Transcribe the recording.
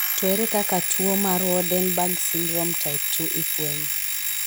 To ere kaka tu o mar Waardenburg syndrome type 2 ifwenyo?